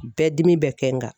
Bɛɛ dimi bɛ kɛ n kan.